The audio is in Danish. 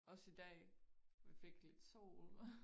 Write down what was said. Også i dag vi fik lidt sol